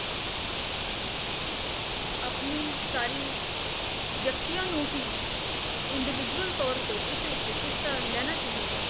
ਆਪਣੀ ਸਾਰੀ ਵਿਅਕਤੀਆਂ ਨੂੰ ਹੀ individual ਤੌਰ ਤੇ ਇਸ ਵਿੱਚ ਹਿੱਸਾ ਲੈਣਾ ਚਾਹੀਦਾ ਹੈ